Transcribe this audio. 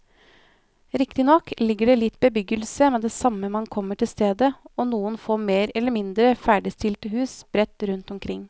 Riktignok ligger det litt bebyggelse med det samme man kommer til stedet og noen få mer eller mindre ferdigstilte hus sprett rundt omkring.